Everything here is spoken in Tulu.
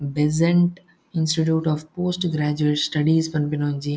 Besant Institute of Post Graduate Studies ಪನ್ಪಿನ ಒಂಜಿ--